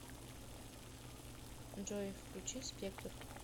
джой включи спектр